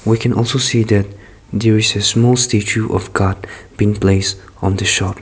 we can also see that there is a small statue of god being placed on the shop.